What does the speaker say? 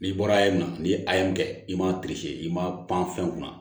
N'i bɔra ayi na ni ye a ye mun kɛ i man i ma pan fɛn kunna